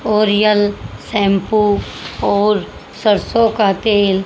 Oriel shampoo और सरसों का तेल--